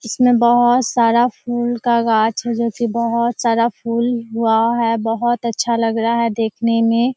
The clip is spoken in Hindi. इसमें बहुत सारा फूल का गाछ है जो कि बहुत सारा फूल हुआ है। बहुत अच्छा लग रहा है देखने में।